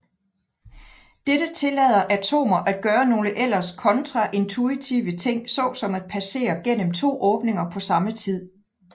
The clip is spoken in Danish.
Dette tillader atomer at gøre nogle ellers kontraintuitive ting så som at passere igennem to åbninger på samme tid